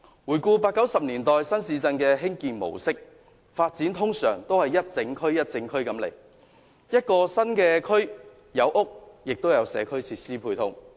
回顧八九十年代新市鎮的興建模式，發展通常都是整區規劃的，所以一個新區內既有房屋，亦有社區設施配套。